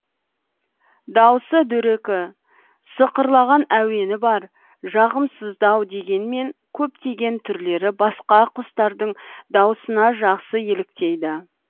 дауысы дөрекі сықырлаған әуені бар жағымсыздау дегенмен көптеген түрлері басқа құстардың дауысына жақсы еліктейді